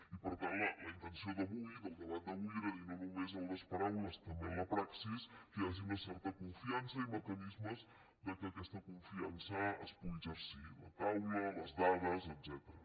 i per tant la intenció d’avui del debat d’avui era dir no només en les paraules també en la praxi que hi hagi una certa confiança i mecanismes que aquesta confiança es pugui exercir a la taula a les dades etcètera